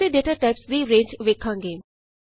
ਹੁਣ ਅਸੀਂ data types ਦੀ ਰੇਂਜ ਵੇਖਾਂਗੇ